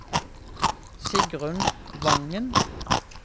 Sigrunn Wangen